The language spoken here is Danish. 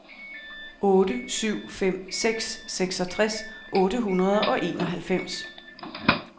otte syv fem seks seksogtres otte hundrede og enoghalvfems